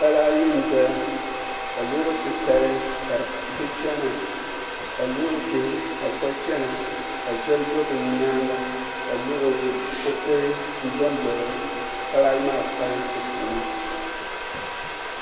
Pala ayi n doya ka loori titali ka di chɛna ka loori bihi ka bi gba chɛna ka zoli do bi nyaanga ka kuriti dondo pala ayi maa folinsi puuni